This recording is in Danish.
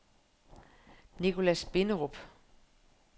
Nichlas Binderup